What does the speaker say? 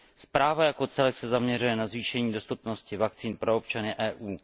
Zpráva jako celek se zaměřuje na zvýšení dostupnosti vakcín pro občany EU.